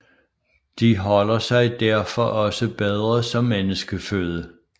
De holder sig derfor også bedre som menneskeføde